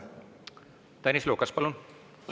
Tõnis Lukas, palun!